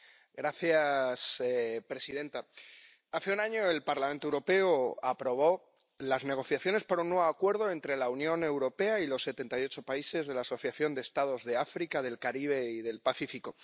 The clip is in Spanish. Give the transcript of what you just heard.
Señora presidenta, hace un año el Parlamento Europeo aprobó las negociaciones para un nuevo acuerdo entre la Unión Europea y los setenta y ocho países de la Asociación de Estados de África, del Caribe y del Pacífico.